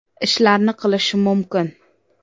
ishlarni qilish mumkin.